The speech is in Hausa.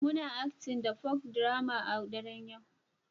Muna Acting the Folk drama a daren yau